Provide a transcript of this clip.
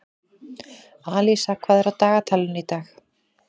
Alísa, hvað er á dagatalinu í dag?